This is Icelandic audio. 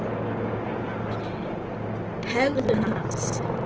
Hegðun hans?